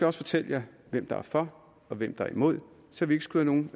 også fortælle hvem der er for og hvem der er imod så vi ikke skyder nogen